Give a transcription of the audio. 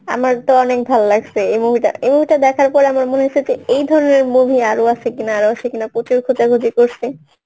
আমার তো অনেক ভালো লাগছে এই movie টা এই movie টা দেখার পরে আমার মনে হয়েছে যে এই ধরণের movie আরো আছে কিনা আরো আছে কিনা প্রচুর খোঁজাখুঁজি করছি